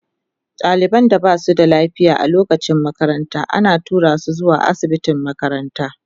Daliban da ba su da lafiya a lokacin makaranta ana tura su zuwa asibitin makaranta.